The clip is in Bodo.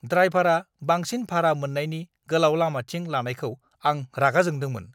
ड्राइभारआ बांसिन भारा मोन्नायनि गोलाव लामाथिं लानायखौ आं रागा जोंदोंमोन।